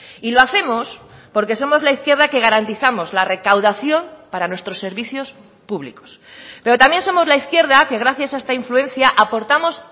y lo hacemos porque somos la izquierda que garantizamos la recaudación para nuestros servicios públicos pero también somos la izquierda que gracias a esta influencia aportamos